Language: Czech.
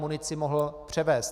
munici mohl převést.